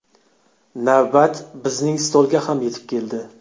Navbat bizning stolga ham yetib keldi.